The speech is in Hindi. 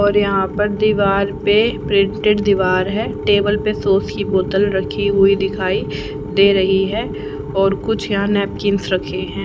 और यहां पर दीवार पे प्रिंटेड दीवार है टेबल पे सॉस की बोतल रखी हुई दिखाई दे रही है और कुछ या नैपकिंस रखे हैं।